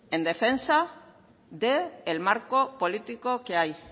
en defensa del marco político que hay